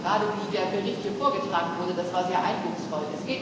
Ich muss sagen Gerade wie der Bericht vorgetragen wurde, das war sehr eindrucksvoll.